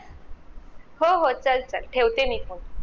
हो हो चल चल ठेवते मी phone